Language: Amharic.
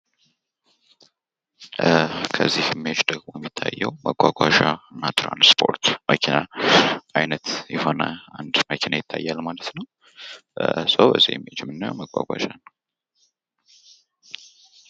ከዚ ምስል ደሞ የሚታየዉ መጓጓዧ እና ትራንስፖርት የሆነ መኪና አይነት የሆነ አንድ መኪና ይታያል ማለት ነው። ስለዚህ እዚህ ምስል የምናየዉ መጓጓዧ ነው።